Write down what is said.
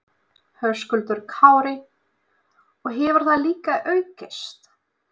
Höskuldur Kári: Og hefur það líka aukist?